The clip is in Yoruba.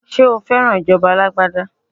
Ṣé o fẹ́ràn ìjọba alágbádá?